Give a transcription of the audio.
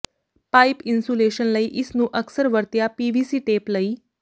pipe insulation ਲਈ ਇਸ ਨੂੰ ਅਕਸਰ ਵਰਤਿਆ ਪੀਵੀਸੀ ਟੇਪ ਲਈ